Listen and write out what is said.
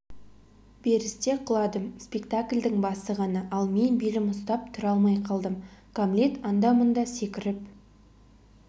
берісте құладым спектакльдың басы ғана ал мен белім ұстап тұра алмай қалдым гамлет анда-мұнда секіріп